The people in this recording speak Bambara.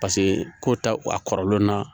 Paseke ko ta a kɔrɔlen na